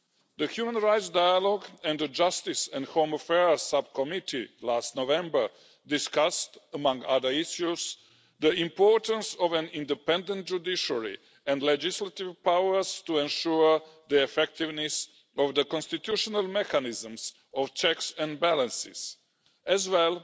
The human rights dialogue and the Justice and Home Affairs Subcommittee, last November, discussed, among other issues, the importance of an independent judiciary and legislative powers to ensure the effectiveness of the constitutional mechanisms of checks and balances, as well